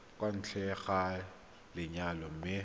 kwa ntle ga lenyalo mme